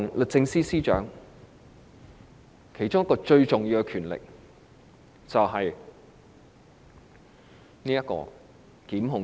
律政司司長最重要的權力是檢控權。